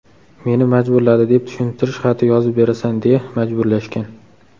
meni majburladi”, deb tushuntirish xati yozib berasan deya majburlashgan.